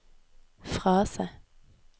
frase